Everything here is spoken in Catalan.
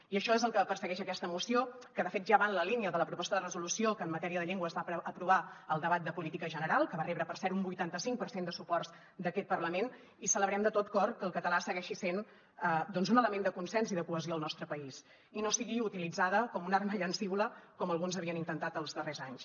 i això és el que persegueix aquesta moció que de fet ja va en la línia de la proposta de resolució que en matèria de llengua es va aprovar al debat de política general que va rebre per cert un vuitanta cinc per cent de suports d’aquest parlament i celebrem de tot cor que el català segueixi sent doncs un element de consens i de cohesió al nostre país i no sigui utilitzat com una arma llancívola com alguns havien intentat els darrers anys